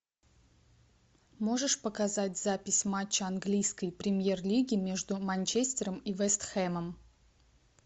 можешь показать запись матча английской премьер лиги между манчестером и вест хэмом